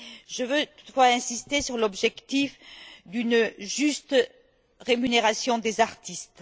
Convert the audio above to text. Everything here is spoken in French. Je veux toutefois insister sur l'objectif d'une juste rémunération des artistes.